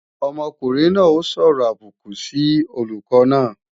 Ọmọkùnrin náà ó sọ̀rọ̀ àbùkù sí olùkọ́ náà